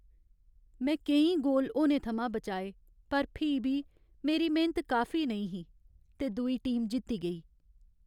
में केईं गोल होने थमां बचाए पर फ्ही बी, मेरी मेह्नत काफी नेईं ही ते दूई टीम जित्ती गेई।